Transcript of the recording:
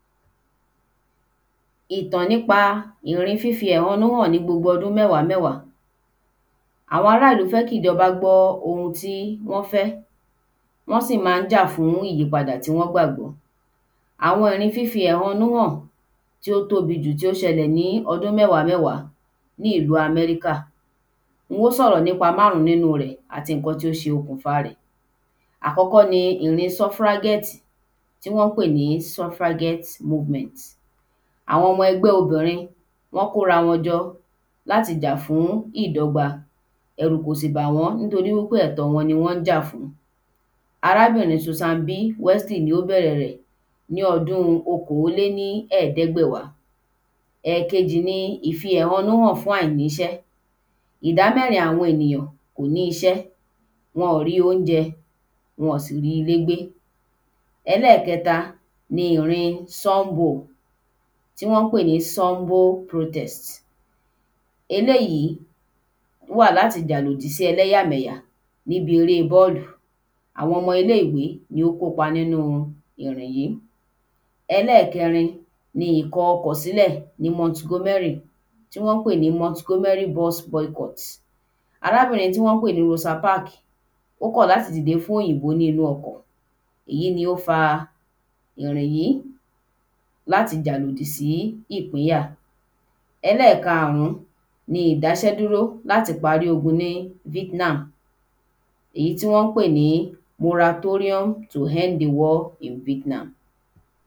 Tí a bá fara pa lórí ọwọ́ ‘ó ṣe pàtàkì láti fí aṣọ dí ibi ọgbẹ́ yi ibi ìpalára náà ìdí ni pe yó dá ẹ̀jẹ̀ dúró ti ẹ̀jẹ̀ bá n jáde, yío dí ìrora kù yó sì dá bòbò ibi ìpalára Bí a kò bá fí aṣọ dí ibi ọgbẹ́ yi ibi ìpalára ẹ̀jẹ̀ le má dẹ́kun ìrora le pọ̀si tàbí kí àrùn kan ibẹ̀. Tí abá fí aṣọ yí ibi náà bo ṣe yẹ yó jẹ́ ki ará múra dáadáa títí dé àkókò tí á o fi ri ìtọ́jú ti o pé ye Bí a bá ní lò ìràlọ́wọ́ dókítà. Kí a to fi aṣọ yí ibi ìpalára lórí ọwọ́, á gbọ́dọ̀ wo ojúbẹ̀ dáadáa. Bí ẹ̀jẹ̀ bá n jáde, á lè fí aṣọ mọ́ ojú bẹ̀ tàbi fi ọwọ́ di mọ fún ìṣẹ̀jú díẹ̀ kí ẹ̀jẹ̀ lé díkù Lẹ́yìn tí ẹ̀jẹ̀bá ti díkù, á gbọ́dọ̀ wẹ́ ibi ìpalára dáadáa bí ibi ìpalára bá ṣe àìmọ́ àrùn le kàn-án. Láti faṣọ yí ibi ìpalára á gbọ́dọ̀ bẹ̀rẹ̀ níbi tó sún mọ́ ojú bẹ̀ ṣùgbọ́n kí ṣe lóri ìpalára gàn-án A gbódọ̀ yiká yípo yípo kí o dí ibẹ̀ náà ṣùgbọ́n kí o má le jù kí o má ba fa ríro. Tí a ba tí parí a gbọ́dọ̀ fi ǹkan mú ki ó ma ba túù. Láti mọ̀ bó yá ẹ̀jẹ̀ n san, tẹ́ ibi èǹkọnọ́ fún bi iṣẹ́jú ayá márùn-ún Tí àpẹrẹ ẹ̀jẹ̀ kò bá han ní orí èǹkọnọ́, ó túmọ̀si wí pe aṣọ yẹ́n ti le jù, gbìnyànjú kí o tun dì kí o má ba le